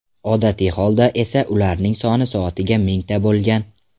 Odatiy holda esa ularning soni soatiga mingta bo‘lgan.